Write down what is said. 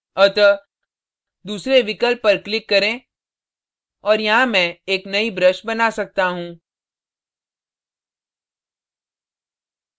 अतः दूसरे विकल्प पर click करें और यहाँ मैं एक नई brush बना सकता हूं